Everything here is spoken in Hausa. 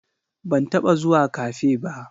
Ban taba zuwa Cafe ba